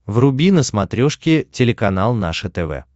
вруби на смотрешке телеканал наше тв